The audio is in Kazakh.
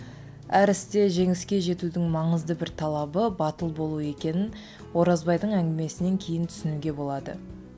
әр істе жеңіске жетудің маңызды бір талабы батыл болу екенін оразбайдың әңгімесінен кейін түсінуге болады